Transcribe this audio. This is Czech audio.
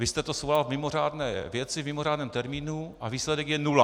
Vy jste to svolal v mimořádné věci, v mimořádném termínu, a výsledek je nula.